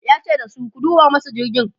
yace dasu "ku duba masa jirgin!'